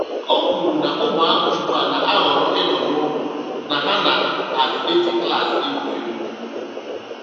O kwuru na ụmụaka ugbu a na-ahọrọ ịnọ n'ụlọ na ha nazị eji klaasị egwu egwu.